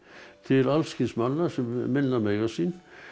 til alls kyns manna minna mega sín